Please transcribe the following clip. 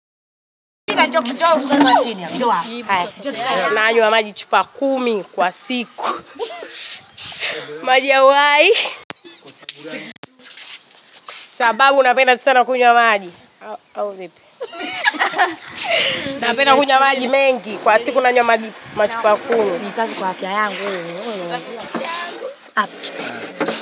Nanywa maji chupa kumi kwa siku. Maji ya uhai. Sababu napenda sana kunywa maji. Au vipi? Napenda kunywa maji mengi kwa siku nanywa maji machupa kumi. Ni safi kwa afya yangu.